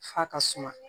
F'a ka suma